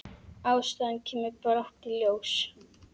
Ástæðan kemur brátt í ljós.